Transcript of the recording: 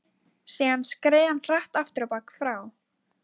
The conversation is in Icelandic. Síðan skreið hann hratt afturábak frá